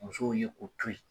Musow ye o to yen.